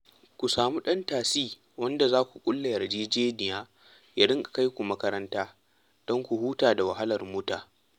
Ku samu ɗan tasi wanda za ku ƙulla yarjejeniya ya dinga kai ku makaranta don ku huta da wahalar mota